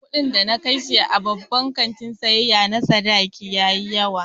Kuɗin da na kashe a babban kantin siyayya na Sadaraki ya yi yawa